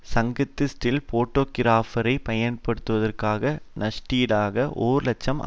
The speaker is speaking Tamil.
சங்கத்து ஸ்டில் போட்டோகிராபரை பயன்படுத்தாததற்கு நஷ்ட ஈடாக ஒருலட்சம்